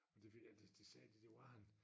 Det fik han det det sagde de det var han